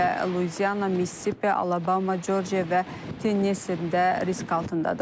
Xüsusilə Luizi, Missisipi, Alabama, Corcia və Tennissdə risk altındadır.